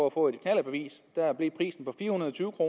at få et knallertbevis der blev prisen fire hundrede og tyve